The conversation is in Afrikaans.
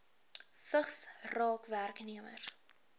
vigs raak werknemers